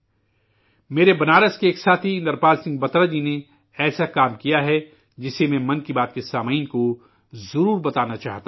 میرے بنارس کے ایک ساتھی اندرپال سنگھ بترا جی نے ایسا کام کیا ہے جسے میں، 'من کی بات' کے سامعین کو ضرور بتانا چاہتا ہوں